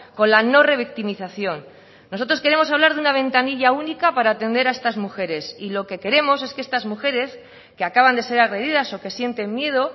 con la no revictimización nosotros queremos hablar de una ventanilla única para atender a estas mujeres y lo que queremos es que estas mujeres que acaban de ser agredidas o que sienten miedo